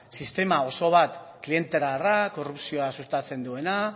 sistema oso bat klientelarra korrupzioa sustatzen duena